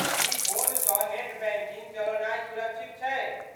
की फोनसँ net banking चलौनाइ सुरक्षित छै?